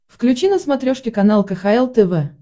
включи на смотрешке канал кхл тв